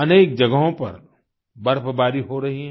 अनेक जगहों पर बर्फ़बारी हो रही है